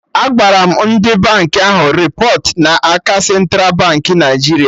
Agbara m ndị bank ahụ repọt n'aka Central Baankị Naijiria